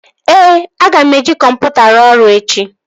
Ee, aga m eji kọmputa ahụ ruo ọrụ echi